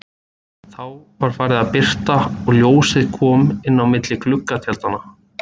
Þá var farið að birta og ljósið kom inn á milli gluggatjaldanna.